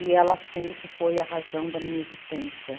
E ela sempre foi a razão da minha existência.